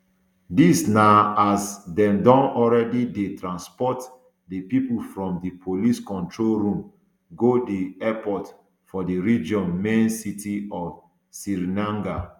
dis na as dem don already dey transport di pipo from di police kontrol room go di airport for di region main city of srinagar